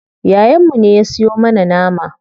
Yayan mu ne ya siyo mana nama.